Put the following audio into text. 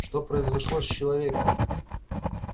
что произошло с человеком